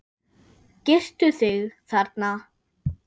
Girtu þig, þarna!